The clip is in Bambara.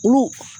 Olu